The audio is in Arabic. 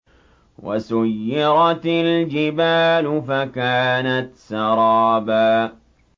وَسُيِّرَتِ الْجِبَالُ فَكَانَتْ سَرَابًا